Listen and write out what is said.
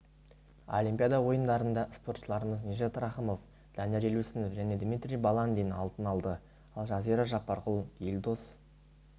олимпиада ойындарында спортшыларымыз нижат рахымов данияр елеусінов және дмитрий баландин алтын алды ал жазира жаппарқұл елдос